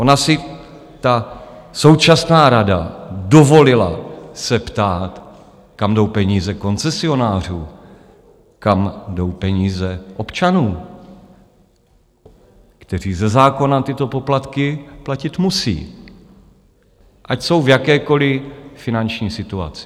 Ona si ta současná rada dovolila se ptát, kam jdou peníze koncesionářů, kam jdou peníze občanů, kteří ze zákona tyto poplatky platit musí, ať jsou v jakékoliv finanční situaci.